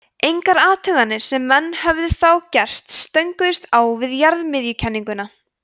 engar athuganir sem menn höfðu þá gert stönguðust á við jarðmiðjukenninguna